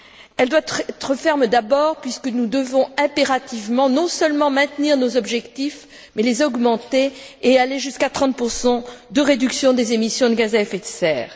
Elle doit être ferme, d'abord, puisque nous devons impérativement, non seulement maintenir nos objectifs, mais les augmenter et aller jusqu'à 30 de réduction des émissions de gaz à effet de serre.